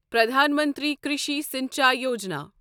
Pradhan Mantri Krishi Sinchai Yojana